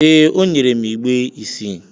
ee, o nyere m igbe isii